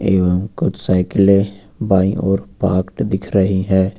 यहां कुछ साइकिले बाईं ओर पार्कड दिख रही है।